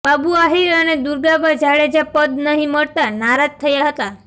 બાબુ આહિર અને દુર્ગાબા જાડેજા પદ નહીં મળતા નારાજ થયા હતા